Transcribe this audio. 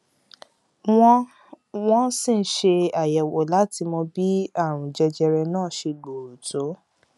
wọn wọn ṣì ń ṣe àyẹwò láti mọ bí àrùn jẹjẹrẹ náà ṣe gbòòrò tó